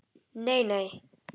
Nei, nei